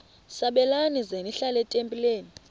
sabelani zenihlal etempileni